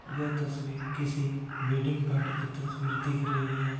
यह तस्वीर किसी वेडिंग पार्टी की तस्वीर दिख रही है।